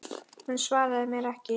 Hún svaraði mér ekki.